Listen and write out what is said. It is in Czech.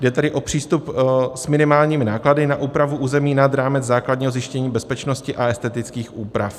Jde tedy o přístup s minimálními náklady na úpravu území nad rámec základního zajištění bezpečnosti a estetických úprav.